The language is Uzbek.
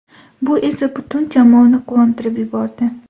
Bu esa butun jamoani quvontirib yubordi.